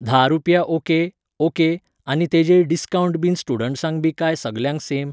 धा रुपया okay, okay, आनी तेजेय डिस्कावन्ट बीन स्टुडंटसांक बी काय सगल्यांक सेम?